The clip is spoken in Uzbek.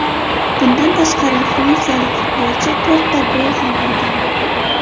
Bundan tashqari fransiyalik futbolchi to‘rtta gol ham urgan.